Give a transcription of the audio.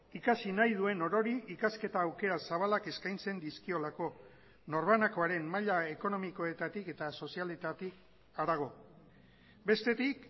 ikasi nahi duen orori ikasketa aukera zabalak eskaintzen dizkiolako norbanakoaren maila ekonomikoetatik eta sozialetatik harago bestetik